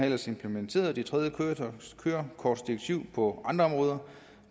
ellers implementeret det tredje kørekortsdirektiv på andre områder